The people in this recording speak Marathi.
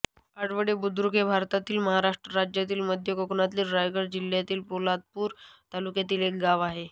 आडवळे बुद्रुक हे भारतातील महाराष्ट्र राज्यातील मध्य कोकणातील रायगड जिल्ह्यातील पोलादपूर तालुक्यातील एक गाव आहे